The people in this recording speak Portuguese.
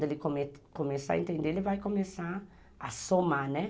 Quando ele come começar a entender, ele vai começar a somar, né?